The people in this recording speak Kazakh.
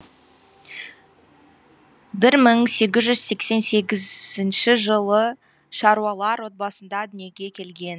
бір мың сегіз жүз сексен сегізінші жылы шаруалар отбасында дүниеге келген